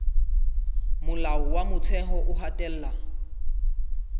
molao wa motheo o hatella